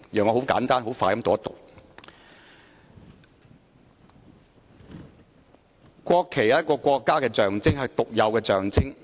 讓我簡單快捷地讀出："國旗是一個國家的象徵，是獨有的象徵......